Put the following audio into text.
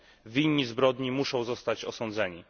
Winni zbrodni muszą zostać osądzeni.